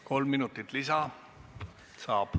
Kolm minutit lisa saab.